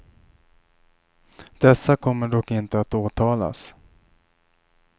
Dessa kommer dock inte att åtalas.